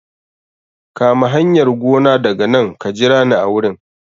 Kama hanyar gona daga nan ka jira ni a wurin